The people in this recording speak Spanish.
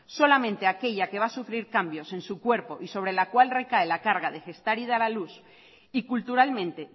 solamente aquella que va a sufrir cambios en su cuerpo y sobre la cual recae la carga de gestar y dar a luz y culturalmente